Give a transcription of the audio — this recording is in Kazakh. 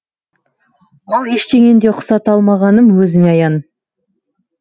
ал ештеңені де ұқсата алмағаным өзіме аян